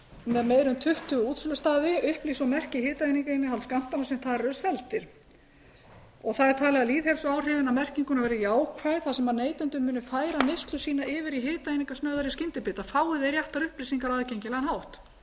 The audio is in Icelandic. með meira en tuttugu útsölustaði upplýsi og merki hitaeiningainnihald skammtanna sem þar eru seldir það er talið að lýðheilsuáhrifin af merkingunni verði jákvæð þar sem neytendur munu færa neyslu sína yfir í hitaeiningasnauðari skyndibita fái þeir réttar upplýsingar á aðgengilegan hátt það